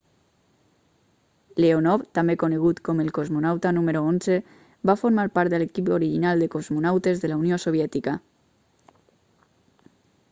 leonov també conegut com el cosmonauta número 11 va formar part de l'equip original de cosmonautes de la unió soviètica